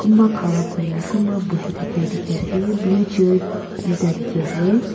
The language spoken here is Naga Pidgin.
kumba khara kuria kumba buhi thakia dikhi ase blue chairs duita dikhi ase.